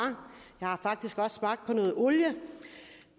jeg har faktisk også smagt på noget olie